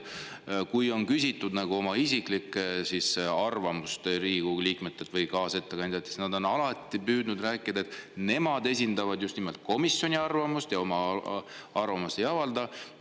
Kui Riigikogu liikmetelt või kaasettekandjatelt on küsitud isiklikku arvamust, siis on nad alati püüdnud rääkida, et nemad esindavad komisjoni arvamust ja enda arvamust ei avalda.